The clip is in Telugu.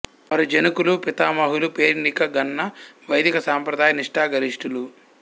వారి జనకులు పితామహులు పేరెన్నిక గన్న వైదిక సాంప్రదాయ నిష్ఠాగరిష్ఠులు